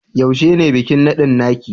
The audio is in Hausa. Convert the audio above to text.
Yaushe ne bikin nadin naki?